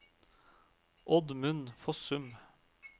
Oddmund Fossum